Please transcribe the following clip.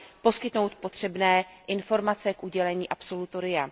poskytnout potřebné informace k udělení absolutoria.